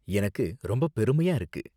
எனக்கு ரொம்ப பெருமையா இருக்கு.